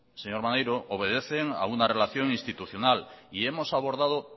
señor maneiro obedecen a una relación institucional y hemos abordado